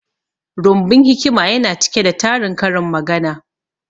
Rumbun hikima yana cike da tarin karin magana